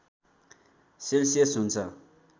Celsius हुन्छ